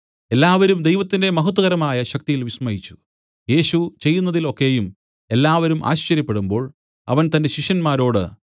എല്ലാവരും ദൈവത്തിന്റെ മഹത്വകരമായ ശക്തിയിൽ വിസ്മയിച്ചു യേശു ചെയ്യുന്നതിൽ ഒക്കെയും എല്ലാവരും ആശ്ചര്യപ്പെടുമ്പോൾ അവൻ തന്റെ ശിഷ്യന്മാരോട്